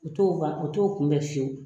O t'o ban o t'o kunbɛn fiyewu.